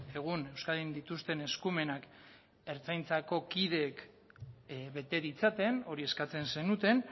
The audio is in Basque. egun euskadin dituzten eskumenak ertzaintzako kideek bete ditzaten hori eskatzen zenuten